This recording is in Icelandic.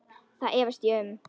Það efast ég um.